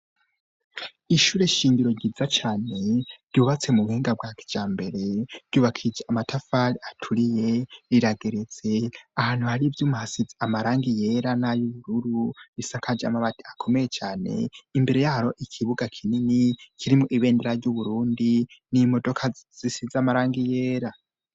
Ishure shingiro ryiza cyane, ryubatse mu buhinga bwa kijambere, ryubakishije amatafari aturiye, rirageretse, ahantu hari ivyuma hasitze amarangi yera n'ay'ubururu risakaje amabati akomeye cane; imbere yaho ikibuga kinini kirimwo ibendera ry'Uburundi, n'imodoka zisize amarangi yera.